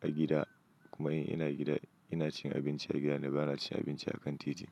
a gida kuma in ina gida, ina cin abinci a gida na ba na cin abinci a kan titi.